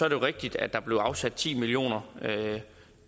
rigtigt at der blev afsat ti millioner